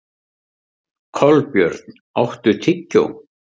Kolbjörn, áttu tyggjó?